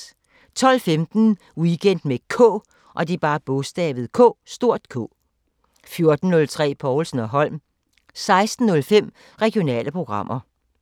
12:15: Weekend med K 14:03: Povlsen & Holm 16:05: Regionale programmer